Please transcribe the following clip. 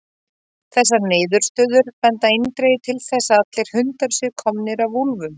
Þessar niðurstöður benda eindregið til þess að allir hundar séu komnir af úlfum.